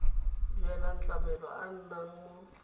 duelang tlamelo a nnang mo